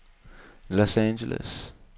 Los Angeles